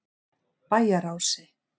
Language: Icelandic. Bæjarási